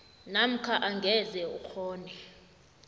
namkha angeze ukghone